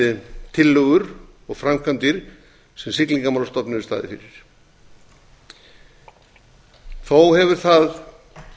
við tillögur og framkvæmdir sem siglingastofnun hefur staðið fyrir þó hefur það